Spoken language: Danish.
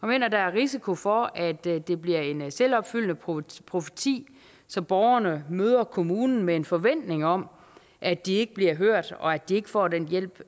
mener der er risiko for at det det bliver en selvopfyldende profeti profeti så borgerne møder kommunen med en forventning om at de ikke bliver hørt og at de ikke får den hjælp